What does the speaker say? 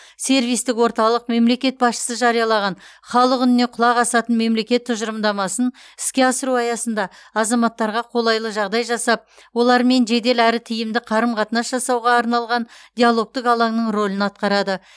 сервистік орталық мемлекет басшысы жариялаған халық үніне құлақ асатын мемлекет тұжырымдамасын іске асыру аясында азаматтарға қолайлы жағдай жасап олармен жедел әрі тиімді қарым қатынас жасауға арналған диалогтық алаңның рөлін атқарады